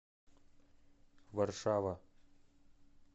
варшава